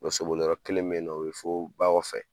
Bɔ soboli yɔrɔ kelen min bɛ yen nɔ o bɛ ba kɔfɛ.